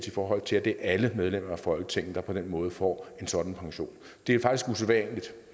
i forhold til at det er alle medlemmer af folketinget der på den måde får en sådan pension det er faktisk